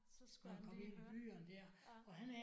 Så skulle han lige høre ja